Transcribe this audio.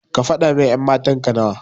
Kafada min ƴan matanka nawa.